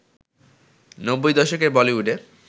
নব্বই দশকের বলিউডে